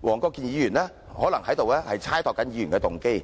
黃議員可能是在猜度議員的動機。